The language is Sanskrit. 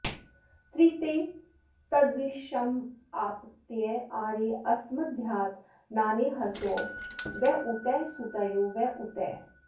त्रिते तद्विश्वमाप्त्य आरे अस्मद्दधातनानेहसो व ऊतयः सुतयो व ऊतयः